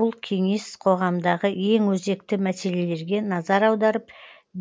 бұл кеңес қоғамдағы ең өзекті мәселелерге назар аударып